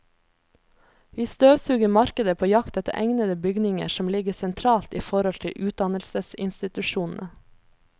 Vi støvsuger markedet på jakt etter egnede bygninger som ligger sentralt i forhold til utdannelsesinstitusjonene.